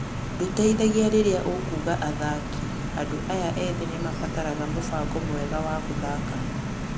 Ndũteithagia rĩrĩa ũkuaga athaki - andũ aya ethĩ nĩ mabataraga mũbango mwega of gũthaka.